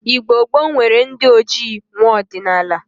Igbo gboo nwere ndi ojii nwa ọdinaala.